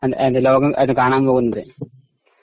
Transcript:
അത് ലോകം അത് പോകാൻ പോകുന്നതേയുള്ളൂ